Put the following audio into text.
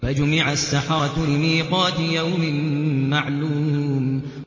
فَجُمِعَ السَّحَرَةُ لِمِيقَاتِ يَوْمٍ مَّعْلُومٍ